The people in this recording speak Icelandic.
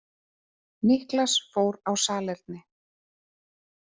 Niklas fór á salerni.